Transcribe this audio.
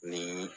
Ni